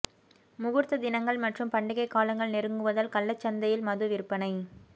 முகூர்த்த தினங்கள் மற்றும் பண்டிகை காலங்கள் நெருங்குவதால் கள்ளச்சந்தையில் மது விற்பனை